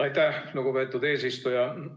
Aitäh, lugupeetud eesistuja!